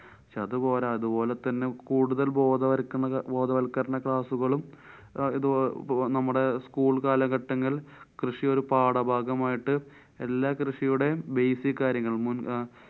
പക്ഷെ അതുപോരാ. അതുപോലെതന്നെ കൂടുതല്‍ ബോധവക്കരണ~ ബോധവല്‍ക്കരണ class കളും അഹ് ഇത്~നമ്മടെ school കാലഘട്ടങ്ങള്‍ കൃഷി ഒരു പാഠഭാഗമായിട്ട് എല്ലാ കൃഷിയുടെയും basic കാര്യങ്ങള്‍ മുന്‍~